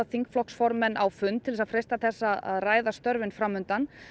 þingflokksformenn á fund til þess að freista þess að ræða störfin framundan